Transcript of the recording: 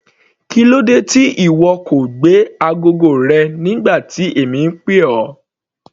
Kílódé tí ìwọ kò gbé agogo rẹ nígbà tí èmi ń pè ọ́.